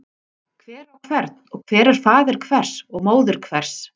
Hver á hvern og hver er faðir hvers og móðir hvers.